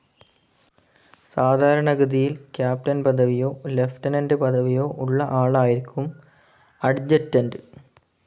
സാധാരണഗതിയിൽ ക്യാപ്റ്റൻ പദവിയോ ലിയൂട്ടെനന്റ്‌ പദവിയോ ഉള്ള ആളായിരിക്കും അഡ്ജറ്റൻറ്.